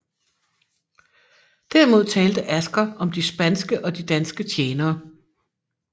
Derimod talte Asger om de spanske og de danske tjenere